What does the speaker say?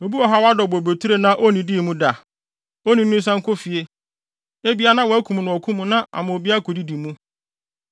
Obi wɔ ha a wadɔw bobeturo na onnidii mu da? Onii no nsan nkɔ fie! Ebia na wɔakum no wɔ ɔko no mu na ama obi akodidi mu.